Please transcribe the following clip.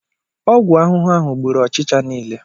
Ọgwụ ahụhụ ahụ gburu ọchicha niile.